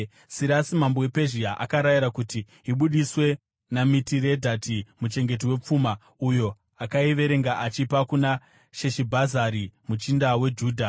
Sirasi mambo wePezhia akarayira kuti ibudiswe naMitiredhati muchengeti wepfuma, uyo akaiverenga achiipa kuna Sheshibhazari muchinda weJudha.